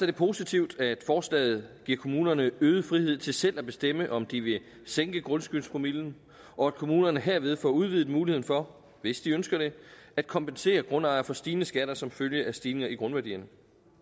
det positivt at forslaget giver kommunerne øget frihed til selv at bestemme om de ville sænke grundskyldspromillen og at kommunerne herved får udvidet muligheden for hvis de ønsker det at kompensere grundejere for stigende skatter som følge af stigninger i grundværdierne